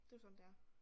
Det jo sådan det er